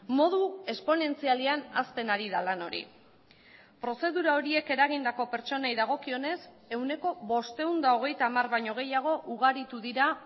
modu esponentzialean hazten ari da lan hori prozedura horiek eragindako pertsonei dagokionez ehuneko bostehun eta hogeita hamar baino gehiago ugaritu dira